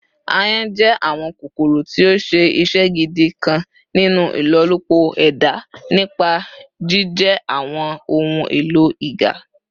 Àyon jẹ awọn kokoro ti o ṣe iṣẹ gidi kan ninu ilolupo eda nipa jijẹ awọn ohun elo iga